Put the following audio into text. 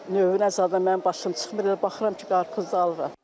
Növünə zadına mənim başım çıxmır, elə baxıram ki, qarpızdır alıram.